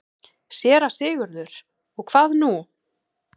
SÉRA SIGURÐUR: Og hvað nú?